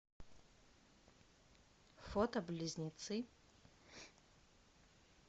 фото близнецы